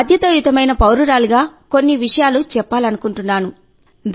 బాధ్యతాయుతమైన పౌరురాలిగా కొన్ని విషయాలు చెప్పాలనుకుంటున్నాను